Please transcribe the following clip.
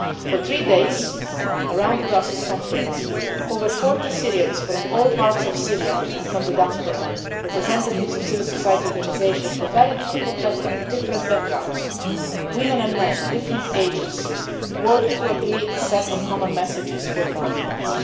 country. For three days, around the Brussels Conference, over 40 Syrians from all parts of Syria and from the diaspora, representatives of civil society organisations with very different backgrounds, women and men, different ages, worked to agree on a set of common messages for the Conference.